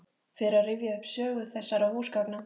Fer að rifja upp sögu þessara húsgagna.